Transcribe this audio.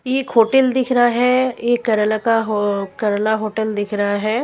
एक होटल दिख रहा है एक केरेला का हो केरला होटल दिख रहा है।